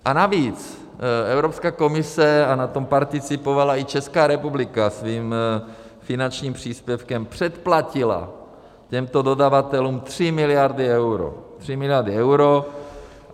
A navíc Evropská komise, a na tom participovala i Česká republika svým finančním příspěvkem, předplatila těmto dodavatelům 3 miliardy euro, 3 miliardy euro.